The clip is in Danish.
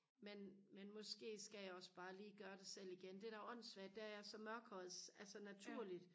men men måske skal jeg også bare lige gøre det selv igen det der er åndssvagt det er at jeg er så mørkhåret altså naturligt